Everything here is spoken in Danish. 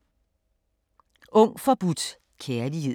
Ung forbudt kærlighed